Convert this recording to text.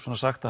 sagst